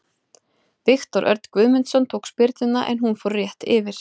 Viktor Örn Guðmundsson tók spyrnuna en hún fór rétt yfir.